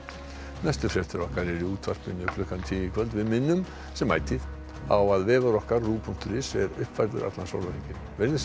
næstu fréttir okkar eru í útvarpinu klukkan tíu í kvöld við minnum sem ætíð á að vefur okkar ruv punktur is er uppfærður allan sólarhringinn veriði sæl